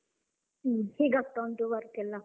ಹ್ಮ್ ಹೇಗಾಗ್ತಾ ಉಂಟು work ಎಲ್ಲ?